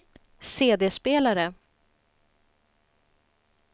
CD-spelare